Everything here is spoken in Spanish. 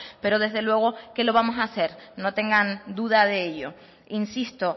pero desde luego que lo vamos a hacer no tengan duda de ello insisto